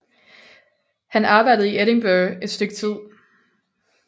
Han arbejdede i Edinburgh et stykke tid